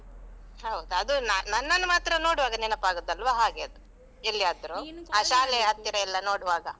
ಹೌದು ಅದು ನನ್ನನ್ನು ಮಾತ್ರ ನೋಡುವಾಗ ನೆನಪಾಗುದಲ್ವ ಹಾಗೆ ಅದು ಎಲ್ಲಿಯಾದ್ರು, ಆ ಶಾಲೆಯ ಹತ್ತಿರ. ಎಲ್ಲ ನೋಡುವಾಗ.